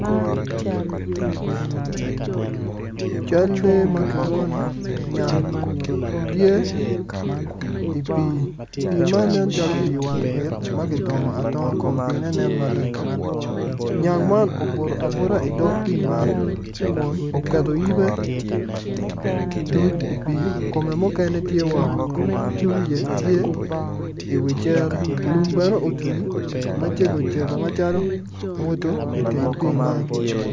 Cal lee ma kilwongo ni nyang tye i pii ma tye i wang it nyang man tye obuto abuta i pii man yibe tye i pii kun wiye tye woko mwodo tye i wi cere, mwodo bene otwei macego cege i wi cere.